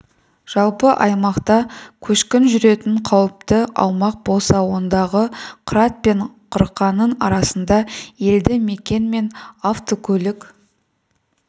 жалпы аймақта көшкін жүретін қауіпті аумақ болса ондағы қырат пен қырқаның арасында елді мекен мен автокөлік